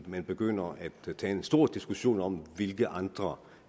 man begynder at tage en stor diskussion om hvilke andre